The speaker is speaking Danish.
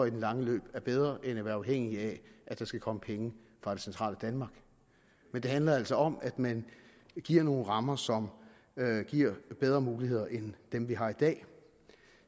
i det lange løb er bedre end at være afhængig af at der skal komme penge fra det centrale danmark men det handler altså om at man giver nogle rammer som giver bedre muligheder end dem vi har i dag